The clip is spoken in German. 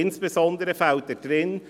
Insbesondere fehlen darin: